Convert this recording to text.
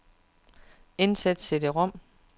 Indsæt cd-rom.